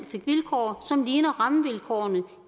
fik vilkår som ligner rammevilkårene